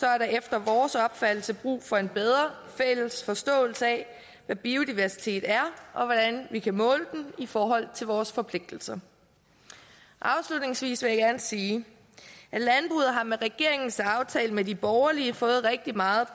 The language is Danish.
er der efter vores opfattelse brug for en bedre fælles forståelse af hvad biodiversitet er og hvordan vi kan måle den i forhold til vores forpligtelser afslutningsvis vil jeg gerne sige at landbruget med regeringens aftale med de borgerlige har fået rigtig meget